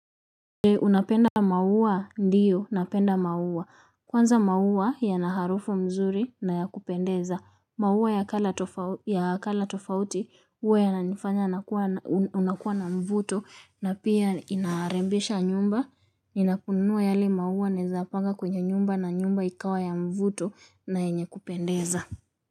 Unapenda maua ndiyo, napenda maua. Kwanza maua ya na harufu mzuri na ya kupendeza. Maua ya kala tofauti uwe yananifanya unakuwa na mvuto na pia inarembesha nyumba. Inakunuwa yali maua naezapanga kwenye nyumba na nyumba ikawa ya mvuto yenye kupendeza.